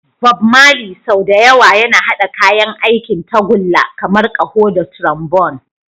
Bob Marley, sau da yawa yana haɗa kayan aikin tagulla kamar ƙaho da trombone.